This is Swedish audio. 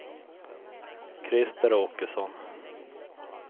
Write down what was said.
Krister Åkesson